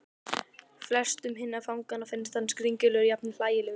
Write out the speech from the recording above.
Flestum hinna fanganna fannst hann skringilegur, jafnvel hlægilegur.